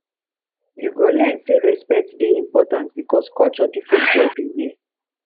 you go learn say respect dey important because culture different everywhere